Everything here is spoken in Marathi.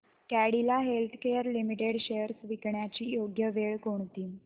कॅडीला हेल्थकेयर लिमिटेड शेअर्स विकण्याची योग्य वेळ कोणती